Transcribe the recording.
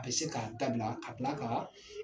A bi se k'a dabila ka kila ka